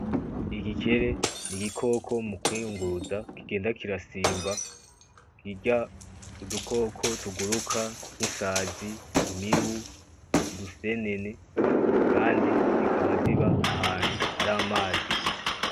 Igikire n'igikoko mukwiyunguruza kigenda kirasimba kirya udukoko tuguruka nk'isazi, imibu, udusenene Kandi kikaba ziba ahantu haramazi gusa.